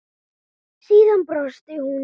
Síðan brosir hún.